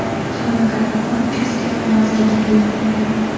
Hamma ‘kattakon’ uchastka noziriga buyruq beradi.